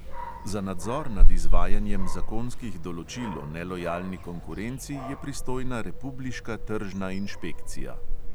Za nadzor nad izvajanjem zakonskih določil o nelojalni konkurenci je pristojna republiška tržna inšpekcija.